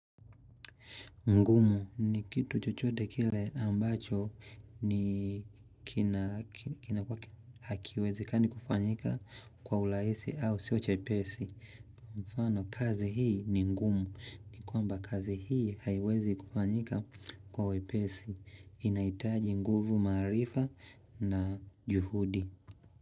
Ngumu ni kitu chochote kile ambacho ni kina kinakua hakiwezekani kufanyika kwa urahisi au sio chepesi. Mfano kazi hii ni ngumu ni kwamba kazi hii haiwezi kufanyika kwa wepesi inaitaji nguvu maarifa na juhudi.